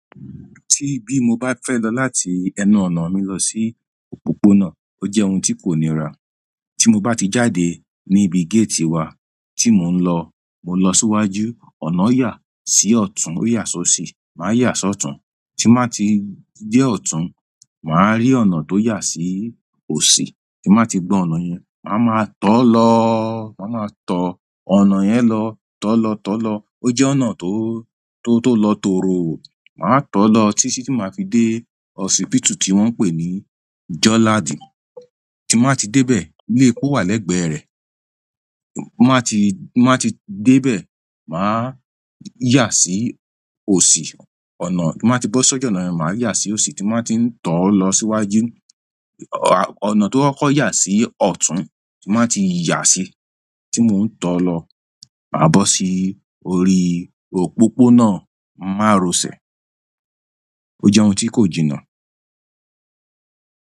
Tí bí mo bá fẹ́ lọ láti ẹnu ọ̀nà mi lọ sí òpópónà, ó jẹ́ ohun tí kò níra. Tí mo bá ti jáde ní ibi géètì wa tí mò ń lọ, mò ń lọ síwájú, ọ̀nà yà sí ọ̀tún ó yà sọ́ọ̀sì, màá yà sí ọ̀tún. Tí n bàá ti dé ọ̀tún, màá rí ọ̀nà tó yà sí òsì, tí n bàá ti gba ọ̀nà yẹn, màá ma tọ̀ ọ́ lọ, màá ma tọ ọ̀nà yẹn lọ, tọ́ lọ, tọ́ lọ. Ó jẹ́ ọ̀nà tó, tó, tó lọ tòró, màá tọ̀ ọ́ lọ títí tí màá fi dé ọ̀sìpítù tí wọ́n ń pè ní Jọ́láàdí. Tí n bàá ti dé bẹ̀, ilé epo wà lẹ́gbẹ̀ẹ́ rẹ̀. Máa ti, máa ti dé bẹ̀, màá yà sí òsì, ọ̀nà tí màá ti bọ́ sọ́jú ọ̀nà yẹn, màá yà sí òsì, tí màá ti ń tọ̀ ọ́ lọ síwájú, ọ̀nà tó kokọ́ yà sí ọ̀tún tí màá ti yà sí, tí mò ń tọ̀ ọ́ lọ, màá bọ́ sí orí òpópónà Márọ̀sẹ̀. Ó jẹ́ ohun tí kò jìnnà.